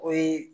O ye